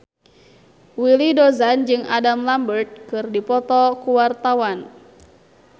Willy Dozan jeung Adam Lambert keur dipoto ku wartawan